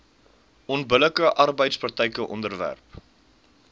onbillike arbeidspraktyke onderwerp